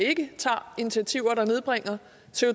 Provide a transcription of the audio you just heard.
ikke tager initiativer der nedbringer